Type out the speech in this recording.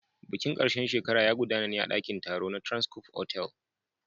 Bikin ƙarshen shekara ya gudana ne a ɗakin taro na Transcof otel.